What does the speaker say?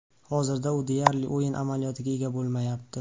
Hozirda u deyarli o‘yin amaliyotiga ega bo‘lmayapti.